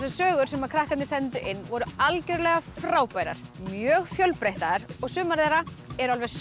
sögur sem krakkarnir sendu inn voru algjörlega frábærar mjög fjölbreyttar og sumar þeirra eru alveg